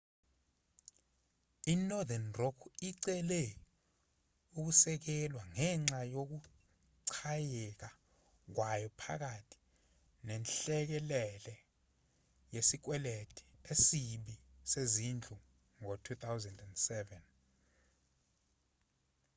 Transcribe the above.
inorthern rock icele ukusekelwa ngenxa yokuchayeka kwayo phakathi nenhlekelele yesikweletu esibi sezindlu ngo-2007